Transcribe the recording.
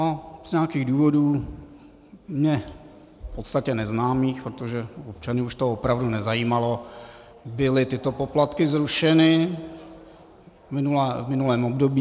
A z nějakých důvodů, mně v podstatě neznámých, protože občany už to opravdu nezajímalo, byly tyto poplatky zrušeny v minulém období.